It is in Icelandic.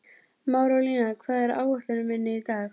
Marólína, hvað er á áætluninni minni í dag?